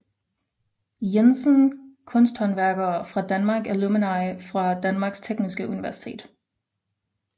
Jensen Kunsthåndværkere fra Danmark Alumni fra Danmarks Tekniske Universitet